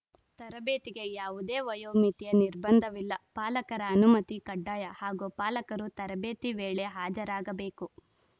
ತರಬೇತಿಗೆ ಯಾವುದೇ ವಯೋಮಿತಿಯ ನಿರ್ಬಂಧವಿಲ್ಲ ಪಾಲಕರ ಅನುಮತಿ ಕಡ್ಡಾಯ ಹಾಗೂ ಪಾಲಕರೂ ತರಬೇತಿ ವೇಳೆ ಹಾಜರಾಗಬೇಕು